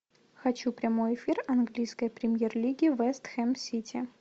хочу прямой эфир английской премьер лиги вест хэм сити